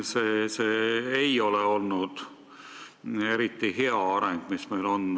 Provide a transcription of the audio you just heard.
See ei ole olnud hea areng, mis meil olnud on.